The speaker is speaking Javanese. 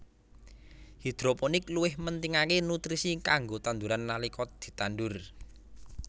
Hidroponik luwih mentingaké nutrisi kanggo tanduran nalika ditandur